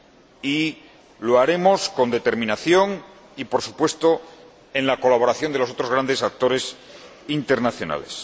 Y lo haremos con determinación y, por supuesto, con la colaboración de los otros grandes actores internacionales.